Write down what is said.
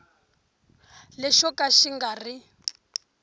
lexo ka xi nga ri